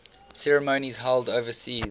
ceremonies held overseas